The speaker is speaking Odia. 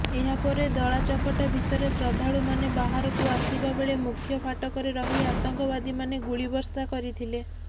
ଏହାପରେ ଦଳାଚକଟା ଭିତରେ ଶ୍ରଦ୍ଧାଳୁମାନେ ବାହାରକୁ ଆସିବା ବେଳେ ମୁଖ୍ୟ ଫାଟକରେ ରହି ଆତଙ୍କବାଦୀମାନେ ଗୁଳିବର୍ଷା କରିଥିଲେ